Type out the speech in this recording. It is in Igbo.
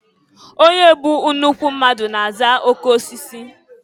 Onye bụ nnukwu mmadụ na-aza okeosisi.